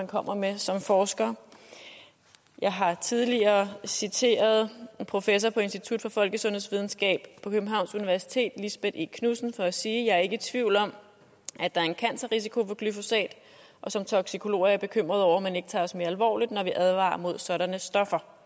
kommer med som forskere jeg har tidligere citeret professor på institut for folkesundhedsvidenskab på københavns universitet lisbeth e knudsen for at sige jeg er ikke i tvivl om at der er en cancerrisiko ved glyphosat og som toksikolog er jeg bekymret over at man ikke tager os mere alvorligt når vi advarer mod sådanne stoffer